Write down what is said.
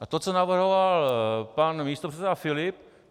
A to, co navrhoval pan místopředseda Filip.